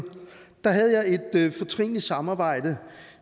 havde et fortrinligt samarbejde